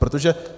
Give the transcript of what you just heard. Protože...